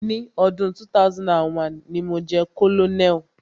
Ni ọdún 2001, ni mo jẹ́ colonel.